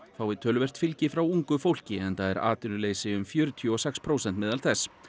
fái töluvert fylgi frá ungu fólki enda er atvinnuleysi um fjörutíu og sex prósent meðal þess